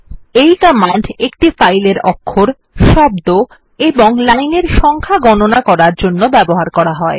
এই কমান্ড একটি ফাইলের অক্ষর শব্দ এবং লাইনের সংখ্যা গণনা করার জন্য ব্যবহার করা হয়